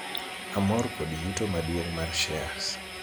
amor kod yuto maduong' mar shares